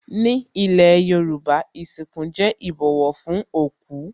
Ní ilé Yorùbá, ìsìnkú jẹ́ ìbọ̀wọ̀ fún òkú